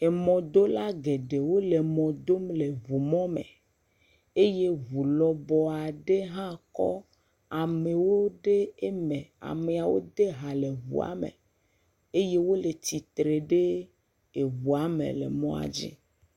Emɔdola geɖewo le emɔ dom le eʋu mɔ me eye eʋu lɔbɔ aɖe hã kɔ amewo ɖe eme. Amewo de hã le eʋua me eye wole tsitre ɖe eʋua me le mɔdzi.